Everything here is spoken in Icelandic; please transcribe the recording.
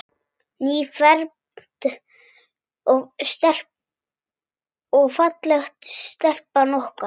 Nýfermd og falleg stelpan okkar.